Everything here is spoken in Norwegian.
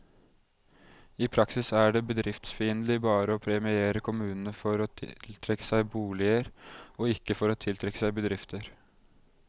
I praksis er det bedriftsfiendtlig bare å premiere kommunene for å tiltrekke seg boliger, og ikke for å tiltrekke seg bedrifter.